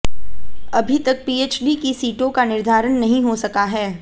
अभी तक पीएचडी की सीटों का निर्धारण नहीं हो सका है